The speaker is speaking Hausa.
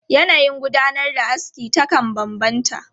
Yanayin gudanar da aski takan bambanta.